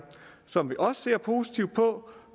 som vi også ser positivt på